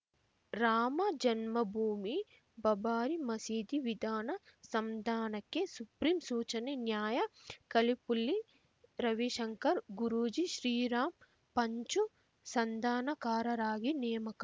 ರಾಮಜನ್ಮ ಭೂಮಿ ಬಬಾರಿ ಮಸೀದಿ ವಿವಾದ ಸಂಧಾನಕ್ಕೆ ಸುಪ್ರೀಂ ಸೂಚನೆ ನ್ಯಾಯ ಖಲಿಪುಲ್ಲಿ ರವಿಶಂಕರ್ ಗುರೂಜಿ ಶ್ರೀರಾಮ್ ಪಂಚು ಸಂಧಾನಕಾರರಾಗಿ ನೇಮಕ